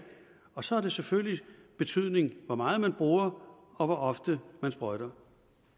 og så har det selvfølgelig betydning hvor meget man bruger og hvor ofte man sprøjter